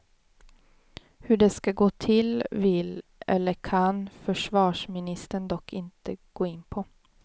Hur det ska gå till vill, eller kan, försvarsministern dock inte gå in på.